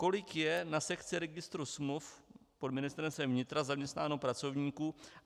Kolik je na sekci registru smluv pod Ministerstvem vnitra zaměstnáno pracovníků?